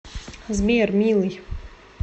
сбер милый